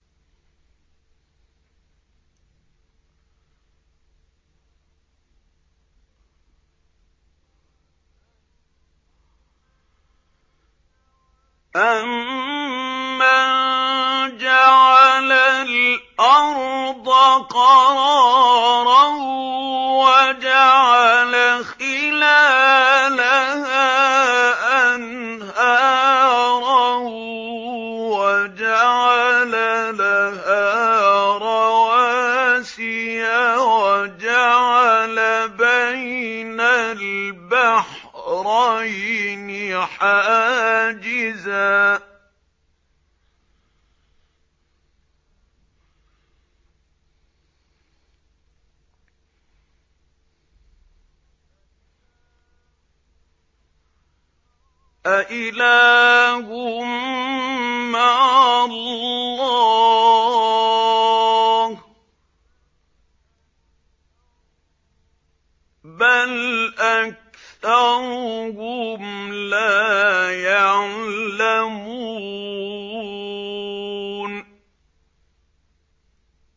أَمَّن جَعَلَ الْأَرْضَ قَرَارًا وَجَعَلَ خِلَالَهَا أَنْهَارًا وَجَعَلَ لَهَا رَوَاسِيَ وَجَعَلَ بَيْنَ الْبَحْرَيْنِ حَاجِزًا ۗ أَإِلَٰهٌ مَّعَ اللَّهِ ۚ بَلْ أَكْثَرُهُمْ لَا يَعْلَمُونَ